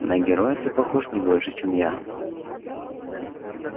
на героя ты похож не больше чем я